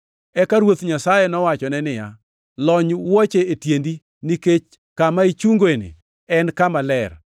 “Eka Ruoth Nyasaye nowachone niya, ‘Lony wuoche e tiendi, nikech kama ichungoeni en Kama Ler!